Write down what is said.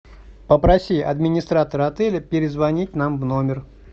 попроси администратора отеля перезвонить нам в номер